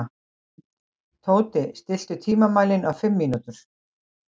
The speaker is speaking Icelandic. Tóti, stilltu tímamælinn á fimm mínútur.